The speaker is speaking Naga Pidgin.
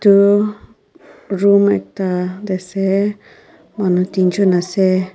eduu room ekta tae ase manu teejun ase.